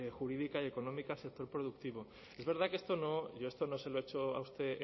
jurídica y económica al sector productivo es verdad que esto yo se lo echo a usted